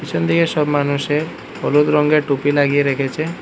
পেছনদিকে সব মানুষে হলুদ রঙ্গের টুপি লাগিয়ে রেখেছে।